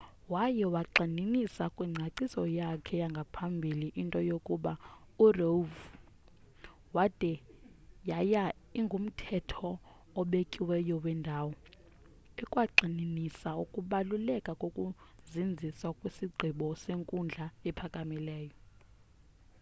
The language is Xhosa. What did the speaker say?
waye wayigxininisa kwingcaciso yakhe yangaphambili into yokuba roev.wade yaye ingumthetho obekiweyo wendawo” ekwagxininisa ukubaluleka kokuzinziswa kwesigqibo senkundla ephakamileyo